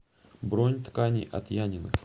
бронь ткани от яниных